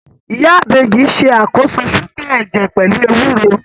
Ìyá Ìbejì ṣàkóso ṣúgà ẹ̀jẹ̀ pẹ̀lú ewúro